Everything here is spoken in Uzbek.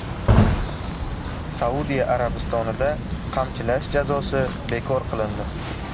Saudiya Arabistonida qamchilash jazosi bekor qilindi.